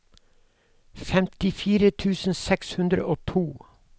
femtifire tusen seks hundre og to